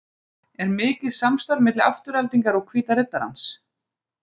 Er mikið samstarf milli Aftureldingar og Hvíta riddarans?